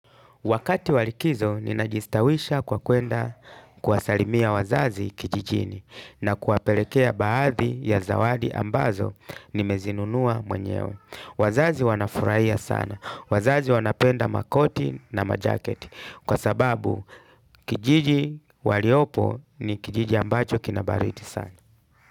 Wakati wa likizo, ninajistawisha kwa kwenda kuwasalimia wazazi kijijini na kuwapelekea baadhi ya zawadi ambazo nimezinunua mwenyewe. Wazazi wanafurahia sana. Wazazi wanapenda makoti na majaketi kwa sababu kijiji waliopo ni kijiji ambacho kinabaridi sana.